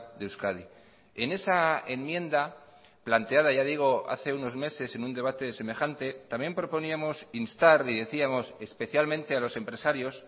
de euskadi en esa enmienda planteada ya digo hace unos meses en un debate semejante también proponíamos instar y decíamos especialmente a los empresarios